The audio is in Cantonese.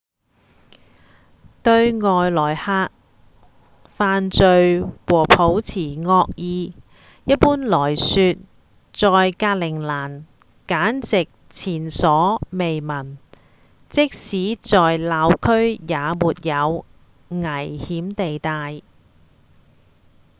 對外來客犯罪和抱持惡意一般來說在格陵蘭簡直前所未聞即使是鬧區也沒有「危險地帶」